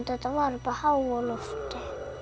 þetta var upp á háalofti